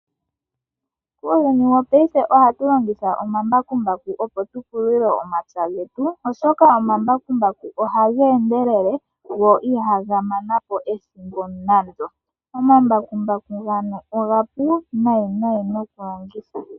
Muuyuni wopayife ohatu longitha omambakumbaku opo tu pulule omapya getu oshoka omambakumbaku ohaga endelele go ihaga manapo ethimbo nande. Omambakumbaku omapu noku longitha.